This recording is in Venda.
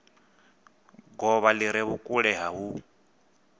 govha li re vhukule hu